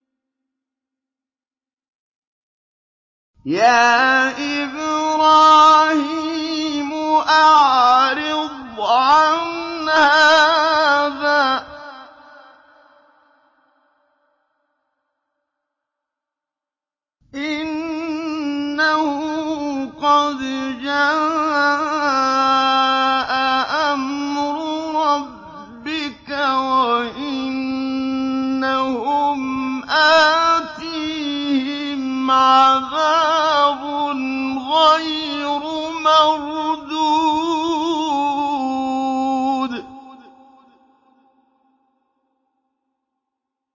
يَا إِبْرَاهِيمُ أَعْرِضْ عَنْ هَٰذَا ۖ إِنَّهُ قَدْ جَاءَ أَمْرُ رَبِّكَ ۖ وَإِنَّهُمْ آتِيهِمْ عَذَابٌ غَيْرُ مَرْدُودٍ